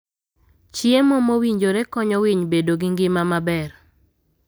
Chiemo mowinjore konyo winy bedo gi ngima maber.